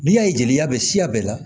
N'i y'a ye jeliya bɛ siya bɛɛ la